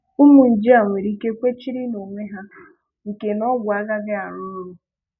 Ụmụ nje a nwereike ikwechiri nonwe ha nke na ọ́gwụ̀ agaghị arụ ọrụ.